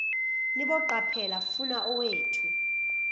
niboqaphela funa owethu